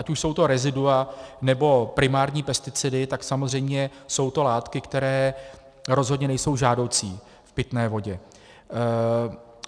Ať už jsou to rezidua, nebo primární pesticidy, tak samozřejmě jsou to látky, které rozhodně nejsou žádoucí v pitné vodě.